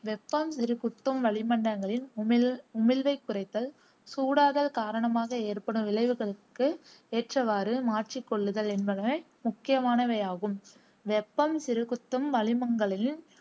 வெப்பம் சிறுகுத்தும் வளிமண்டலங்களின் உமிழ் உமிழ்வைக் குறைத்தல், சூடாதல் காரணமாக ஏற்படும் விளைவுகளுக்கு ஏற்றவாறு மாற்றிக்கொள்ளுதல் என்பன முக்கியமானவையாகும். வெப்பம் சிறுகுத்தும் வளிமங்களில்